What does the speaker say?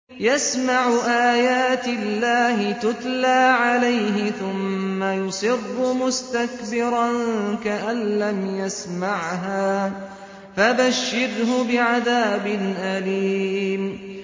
يَسْمَعُ آيَاتِ اللَّهِ تُتْلَىٰ عَلَيْهِ ثُمَّ يُصِرُّ مُسْتَكْبِرًا كَأَن لَّمْ يَسْمَعْهَا ۖ فَبَشِّرْهُ بِعَذَابٍ أَلِيمٍ